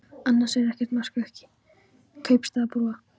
Annars er ekkert að marka ykkur kaupstaðarbúa.